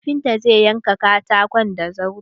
Kafinta zai yanka katakon da zarto.